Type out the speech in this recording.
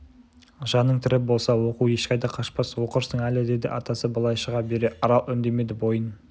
жаның тірі болса оқу ешқайда қашпас оқырсың әлі деді атасы былай шыға бере арал үндемеді бойын